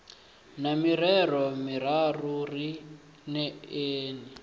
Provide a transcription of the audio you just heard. na mirero miraru ri neeni